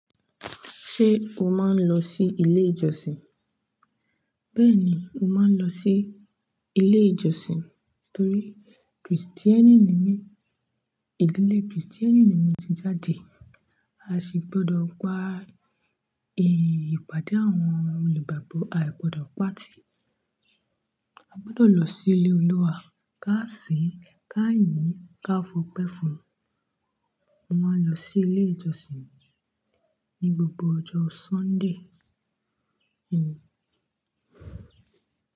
Ṣé o máa ń lọ sí ilé ìjọsìn? Bẹ́ẹ̀ni, mo máa ń lọ sí ilé ìjọsìn torí Kristeni ni mí, ìdílé Kriisteni ni mo ti jáde. A sì gbọdọ̀ gba ìpàdé àwọn olùgbagbo, a ò gbọdọ̀ pàtì. A gbọdọ̀ lọ sí ilé Olúwa kà sìn, kà yìn in, ká fọpẹ́ fún. Mo máa ń lọ sí ilé ìjọsìn ní gbogbo ọjọ́ Sunday.